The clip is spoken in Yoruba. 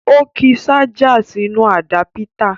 Ó ki ṣájà sínú àdápítà